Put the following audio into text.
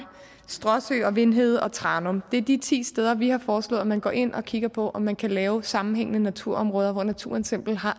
stråsø og vind hede og tranum det er de ti steder vi har foreslået at man går ind og kigger på om man kan lave nogle sammenhængende naturområder hvor naturen simpelt